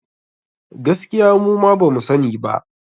Gaskiya muma bamu sa ni ba